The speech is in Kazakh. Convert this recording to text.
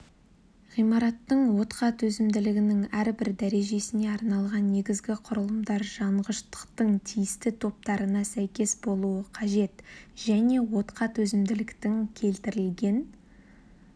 ғимараттың отқа төзімділігінің әрбір дәрежесіне арналған негізгі құрылымдар жанғыштықтың тиісті топтарына сәйкес болуы қажет және отқа төзімділіктің келтірілген